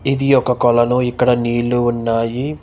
ఇది ఒక కోలానో ఇక్కడ నీళ్లు ఉన్నాయి.